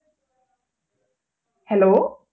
Hello